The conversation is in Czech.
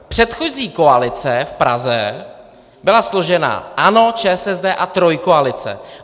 Předchozí koalice v Praze byla složena: ANO, ČSSD a Trojkoalice.